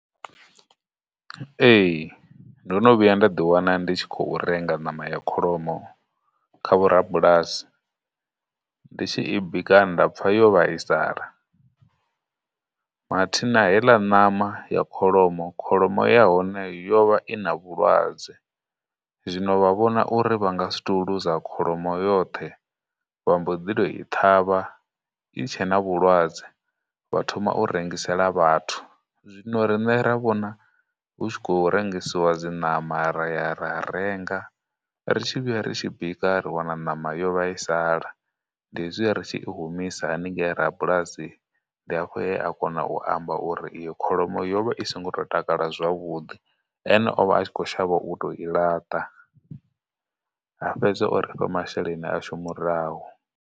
Ee, ndo no vhuya nda ḓi wana ndi tshi khou renga ṋama ya kholomo kha vho rabulasi, ndi tshi i bika nda pfha yo vhaisala, mathina heila ṋama ya kholomo, kholomo ya hone yo vha i na vhulwadze, zwino vha vhona uri vha nga si tou kholomo yoṱhe vha mboḓi tou i ṱhavha i tshe na vhulwadze vha thoma u rengisela vhathu. Zwino riṋe ra vhona hu tshi khou rengisiwa dziṋama ra ya ra renga, ri tshi vhuya ri tshi bika ri wana ṋama yo vhaisala, ndi izwiha ri tshi i humisa haningei ha rabulasi, ndi afho he a kona u amba uri iyo kholomo yo vha i songo tou takala zwavhuḓi, ene o vha a tshi khou shavha u tou i laṱa, a fhedza o ri fha masheleni ashu murahu.